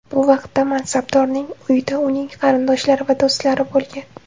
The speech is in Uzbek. Bu vaqtda mansabdorning uyida uning qarindoshlari va do‘stlari bo‘lgan.